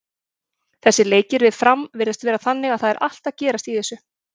Þessir leikir við Fram virðast vera þannig að það er allt að gerast í þessu.